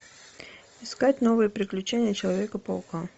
искать новые приключения человека паука